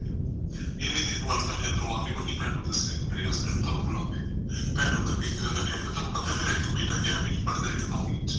ਇੰਨੀ ਦੇਰ ਨੂੰ ਅਲਕਾ ਅੰਦਰੋ ਆ ਵੱਡੀ ਭੈਣ ਨੇ ਦੱਸਿਆ ਕਿ ਮੇਰੇ husband ਤੁਹਾਨੂੰ ਬੁਲਾਉਂਦੇ ਭੈਣ ਅੰਦਰ ਗਈ ਤੈਨੂੰ ਪਤਾ ਮੇਰਾ ਇੱਕ ਬੇਟਾ ਗਿਆਰਵੀ ਚ ਪੜਦਾ ਇੱਕ ਨੋਵੀ ਚ